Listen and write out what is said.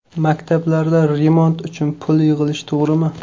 Maktablarda remont uchun pul yig‘ilishi to‘g‘rimi?.